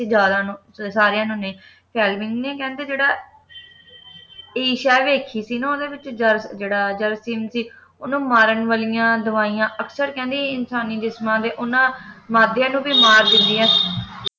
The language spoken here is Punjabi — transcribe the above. ਜਿਆਦਾ ਨੂੰ ਨਹੀਂ ਸਾਰੀਆਂ ਨੂੰ ਨਹੀਂ ਫੇਮਲਿੰਗ ਨੇ ਕਹਿੰਦੇ ਜਿਹੜਾ ਏਸ਼ੀਆ ਵੇਖੀ ਸੀ ਨਾ ਓਹਦੇ ਵਿੱਚ ਜਿਹੜਾ ਜਰਾਸੀਮ ਸੀ ਓਹਨੂੰ ਮਾਰਨ ਵਾਲਿਆਂ ਦਵਾਈਆਂ ਅਕਸਰ ਕਹਿੰਦਾ ਇਨਸਾਨੀ ਜਿਸਮ ਦੇ ਉਨ੍ਹਾਂ ਮਾਧਿਅਮ ਨੂੰ ਵੀ ਮਾਰ ਦਿੰਦਿਆਂ